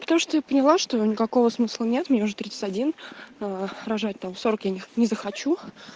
потому что я поняла что никакого смысла нет мне уже тридцать один аа рожать там в сорок я не не захочу